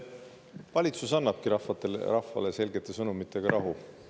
Valitsus annabki rahvale selgete sõnumitega rahu.